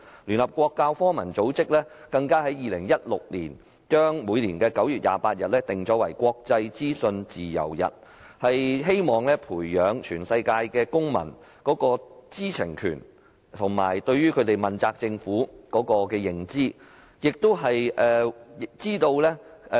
聯合國教育、科學與文化組織更在2016年把每年9月28日訂為"國際資訊自由日"，希望培養全球公民的知情權，以及向政府問責的認知。